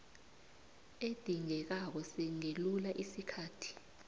edingekako singelula isikhathi